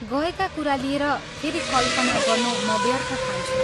गएका कुरा लिएर फेरि कल्पना गर्नु म व्यर्थ ठान्छु।